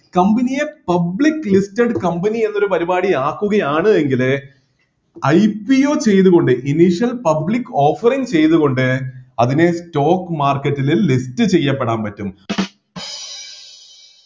company യെ public listed company എന്നൊരു പരിപാടി ആക്കുകയാണ് എങ്കിൽ IPO ചെയ്‌തുകൊണ്ട്‌ public offering ചെയ്‌തുകൊണ്ട് അതിനെ stock market ൽ list ചെയ്യപ്പെടാൻ പറ്റും